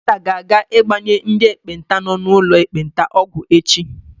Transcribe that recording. Dọkịta ga-aga ịgbanye ndị ekpenta nọ n'ụlọ ekpenta ọgwụ echi.